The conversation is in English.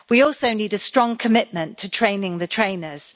We also need a strong commitment to training the trainers.